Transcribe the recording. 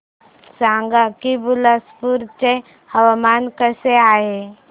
सांगा की बिलासपुर चे हवामान कसे आहे